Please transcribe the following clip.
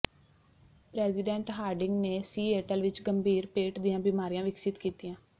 president Harding ਨੇ Seattle ਵਿੱਚ ਗੰਭੀਰ ਪੇਟ ਦੀਆਂ ਬਿਮਾਰੀਆਂ ਵਿਕਸਿਤ ਕੀਤੀਆਂ